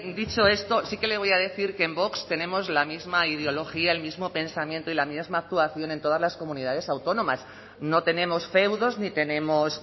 dicho esto sí que le voy a decir que en vox tenemos la misma ideología el mismo pensamiento y la misma actuación en todas las comunidades autónomas no tenemos feudos ni tenemos